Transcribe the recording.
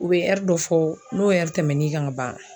U be dɔ fɔ , n'o tɛmɛna e kan ka ban.